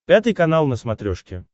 пятый канал на смотрешке